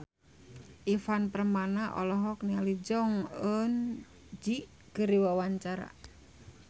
Ivan Permana olohok ningali Jong Eun Ji keur diwawancara